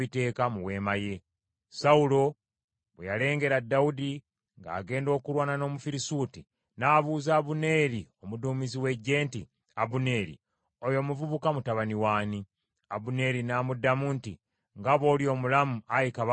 Sawulo bwe yalengera Dawudi ng’agenda okulwana n’Omufirisuuti, n’abuuza Abuneeri omuduumizi w’eggye nti, “Abuneeri, oyo omuvubuka mutabani w’ani?” Abuneeri n’amuddamu nti, “Nga bw’oli omulamu, ayi kabaka, simanyi.”